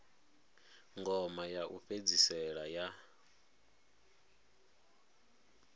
ngoma ya u fhedzisela ya